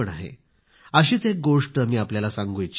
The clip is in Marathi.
अशीच एक गोष्ट मी आपल्याला सांगू इच्छितो